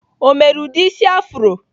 Ọ mere ụdị isi afro?